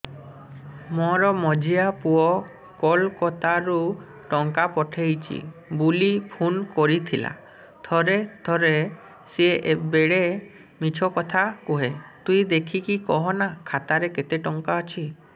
ମୋର ମଝିଆ ପୁଅ କୋଲକତା ରୁ ଟଙ୍କା ପଠେଇଚି ବୁଲି ଫୁନ କରିଥିଲା ଥରେ ଥରେ ସିଏ ବେଡେ ମିଛ କଥା କୁହେ ତୁଇ ଦେଖିକି କହନା ଖାତାରେ କେତ ଟଙ୍କା ଅଛି